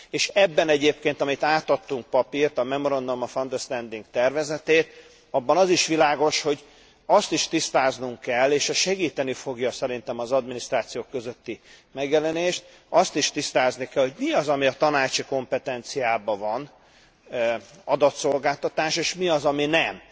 És ebben egyébként, amit átadtunk papírt, a Memorandum of Understanding tervezetét, abban az is világos, hogy azt is tisztáznunk kell, és ezt segíteni fogja szerintem az adminisztrációk közötti megjelenést hogy mi az ami a Tanácsi kompetenciában van adatszolgáltatás, és mi az ami nem?